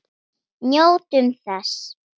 Njótum þess.